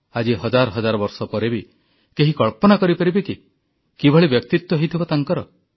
ଆଜି ହଜାର ହଜାର ବର୍ଷ ପରେ ବି କେହି କଳ୍ପନା କରିପାରିବେ କି କିଭଳି ବ୍ୟକ୍ତିତ୍ୱ ହୋଇଥିବ ତାଙ୍କର